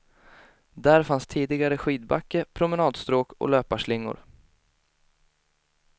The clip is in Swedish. Där fanns tidigare skidbacke, promenadstråk och löparslingor.